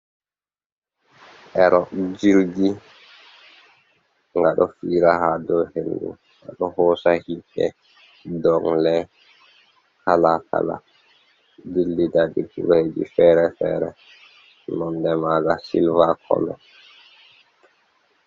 ero jirgi, gado fiira ha do hendu ado hosa himbe, dongle kala kala, jillida jiribji fere-fere nonde maga sylva colo